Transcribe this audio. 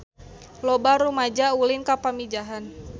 Loba rumaja ulin ka Pamijahan